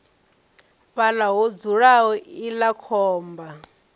fhaḽa ho dzulaho iḽla khomba